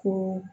Ko